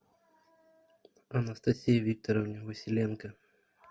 анастасии викторовне василенко